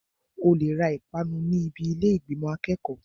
O lè ra ìpanu ní ibi ilé ìgbìmò akẹ́kọ̀ọ́.